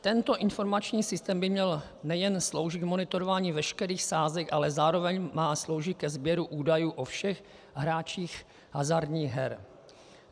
Tento informační systém by měl nejen sloužit k monitorování veškerých sázek, ale zároveň má sloužit ke sběru údajů o všech hráčích hazardních her.